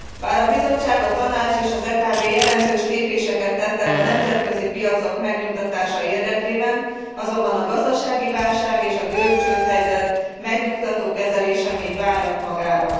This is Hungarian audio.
Bár a Bizottság, a Tanács, és az EKB jelentős lépéseket tettek a nemzetközi piacok megnyugtatása érdekében, azonban a gazdasági válság és a görög csődhelyzet megnyugtató kezelése még várat magára.